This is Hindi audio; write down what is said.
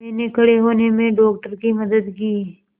मैंने खड़े होने में डॉक्टर की मदद की